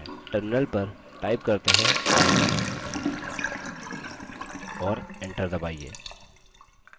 terminal पर type करते हैं id और enter दबाइए